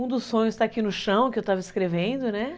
Um dos sonhos está aqui no chão, que eu estava escrevendo, né?